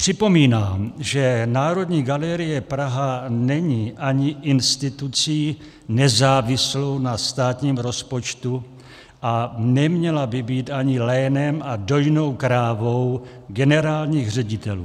Připomínám, že Národní galerie Praha není ani institucí nezávislou na státním rozpočtu a neměla by být ani lénem a dojnou krávou generálních ředitelů.